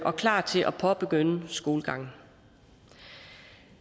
og klar til at påbegynde skolegangen